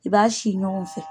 I b'a sin ɲɔgɔn fɛ.